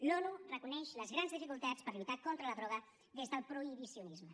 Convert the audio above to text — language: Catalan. l’onu reconeix les grans dificultats per lluitar contra la droga des del prohibicionisme